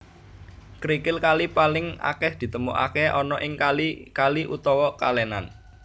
Krikil kali paling akeh ditemukake ana ing kali kali utawa kalenan